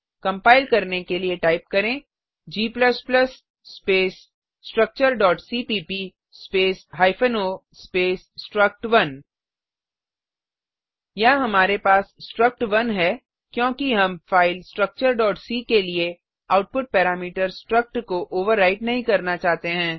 compile करने के लिए टाइप करें g स्पेस structureसीपीप space hyphen O space struct one यहाँ हमारे पास स्ट्रक्ट1 है क्योंकि हम फाइल स्ट्रक्चर c के लिए आउटपुट पैरामीटर स्ट्रक्ट को ओवरराइट नहीं करना चाहते हैं